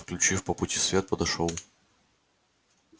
включив по пути свет подошёл